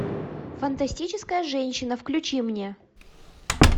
фантастическая женщина включи мне